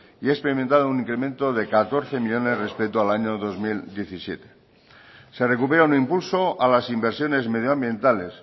y ha experimentado un incremento de catorce millónes respeto al año dos mil diecisiete se recupera un impulso a las inversiones medioambientales